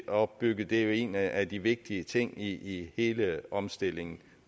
opbygget er en af de vigtige ting i hele omstillingen